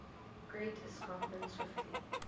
great escarpment swiftly